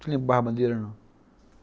Você lembra de barra-bandeira ou não?